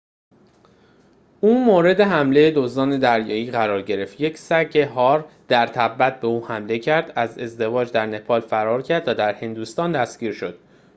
او مورد حمله دزدان دریایی قرار گرفت یک سگ هار در تبت به او حمله کرد از ازدواج در نپال فرار کرد و در هندوستان دستگیر شد